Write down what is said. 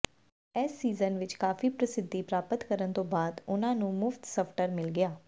ਇਸ ਸੀਜ਼ਨ ਵਿਚ ਕਾਫੀ ਪ੍ਰਸਿੱਧੀ ਪ੍ਰਾਪਤ ਕਰਨ ਤੋਂ ਬਾਅਦ ਉਨ੍ਹਾਂ ਨੂੰ ਮੁਫਤ ਸਵਟਰ ਮਿਲ ਗਿਆ